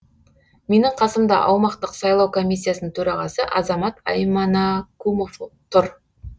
менің қасымда аумақтық сайлау комиссиясының төрағасы азамат айманакумов тұр